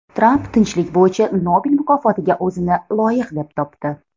Tramp Tinchlik bo‘yicha Nobel mukofotiga o‘zini loyiq deb topdi.